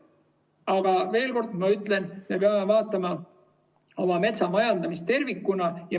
Aga ma veel kord ütlen, et me peame vaatama oma metsamajandamist tervikuna.